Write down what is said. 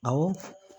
Awɔ